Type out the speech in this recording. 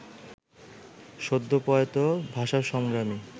সদ্যপ্রয়াত ভাষাসংগ্রামী